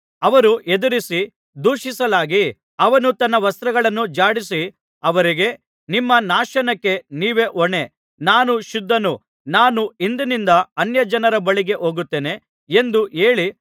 ಅವರು ಎದುರಿಸಿ ದೂಷಿಸಲಾಗಿ ಅವನು ತನ್ನ ವಸ್ತ್ರಗಳನ್ನು ಝಾಡಿಸಿ ಅವರಿಗೆ ನಿಮ್ಮ ನಾಶನಕ್ಕೆ ನೀವೇ ಹೊಣೆ ನಾನು ಶುದ್ಧನು ನಾನು ಇಂದಿನಿಂದ ಅನ್ಯಜನರ ಬಳಿಗೆ ಹೋಗುತ್ತೇನೆ ಎಂದು ಹೇಳಿ